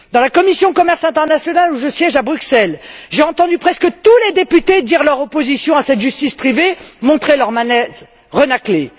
Dans la commission du commerce international où je siège à Bruxelles, j'ai entendu presque tous les députés dire leur opposition à cette justice privée, renâcler.